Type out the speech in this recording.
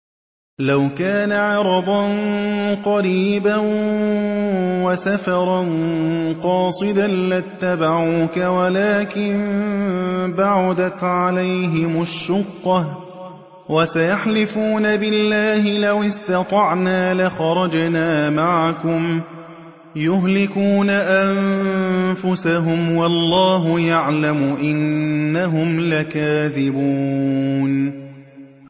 لَوْ كَانَ عَرَضًا قَرِيبًا وَسَفَرًا قَاصِدًا لَّاتَّبَعُوكَ وَلَٰكِن بَعُدَتْ عَلَيْهِمُ الشُّقَّةُ ۚ وَسَيَحْلِفُونَ بِاللَّهِ لَوِ اسْتَطَعْنَا لَخَرَجْنَا مَعَكُمْ يُهْلِكُونَ أَنفُسَهُمْ وَاللَّهُ يَعْلَمُ إِنَّهُمْ لَكَاذِبُونَ